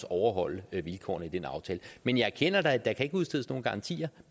overholde vilkårene i den aftale men jeg erkender da at der ikke kan udstedes nogen garantier